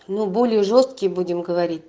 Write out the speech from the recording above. ну более жёсткие будем говорить